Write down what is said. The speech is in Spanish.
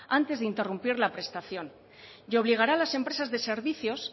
antes de interrumpir la prestación y obligará a las empresas de servicios